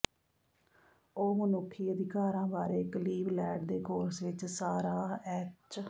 ਉਹ ਮਨੁੱਖੀ ਅਧਿਕਾਰਾਂ ਬਾਰੇ ਕਲੀਵਲੈਂਡ ਦੇ ਕੋਰਸ ਵਿੱਚ ਸਾਰਾਹ ਐਚ